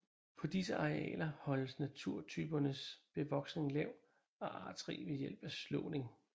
På disse arealer holdes naturtypernes bevoksning lav og artsrig ved hjælp af slåning